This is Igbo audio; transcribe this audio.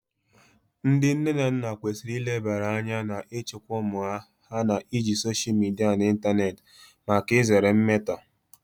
Ndị nne na nna kwesịrị ilebara anya na ịchịkwa ụmụ ha na iji soshal midia na ịntanetị maka izere mmetọ